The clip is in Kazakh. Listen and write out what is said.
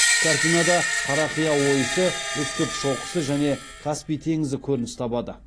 картинада қарақия ойысы үстірт шоқысы және каспий теңізі көрініс табады